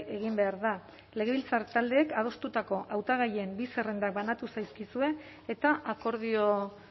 egin behar da legebiltzar taldeek adostutako hautagaien bi zerrenda banatu zaizkizue eta akordio